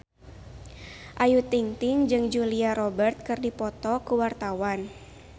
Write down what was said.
Ayu Ting-ting jeung Julia Robert keur dipoto ku wartawan